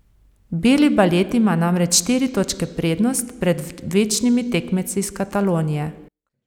Beli balet ima namreč štiri točke prednost pred večnimi tekmeci iz Katalonije.